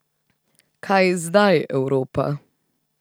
Kaj zdaj, Evropa?